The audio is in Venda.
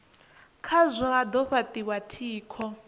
khazwo ha do fhatiwa tshiko